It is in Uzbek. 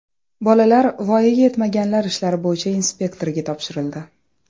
Bolalar voyaga yetmaganlar ishlari bo‘yicha inspektorga topshirildi.